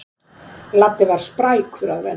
Laddi var sprækur að venju.